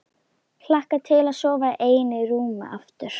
Hlakka til að sofa ein í rúmi aftur.